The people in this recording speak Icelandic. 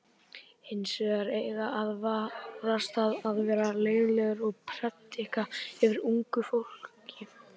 Hins vegar eigi að varast það að vera leiðinlegur og predika yfir ungu fólki.